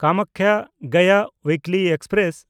ᱠᱟᱢᱟᱠᱠᱷᱟ–ᱜᱚᱭᱟ ᱩᱭᱤᱠᱞᱤ express